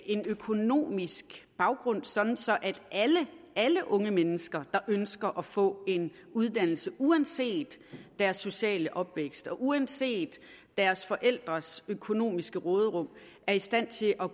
en økonomisk baggrund så alle unge mennesker der ønsker at få en uddannelse uanset deres sociale opvækst og uanset deres forældres økonomiske råderum er i stand til at